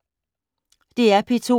DR P2